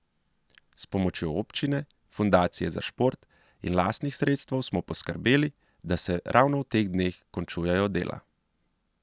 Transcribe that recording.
S pomočjo občine, fundacije za šport in lastnih sredstev smo poskrbeli, da se ravno v teh dneh končujejo dela.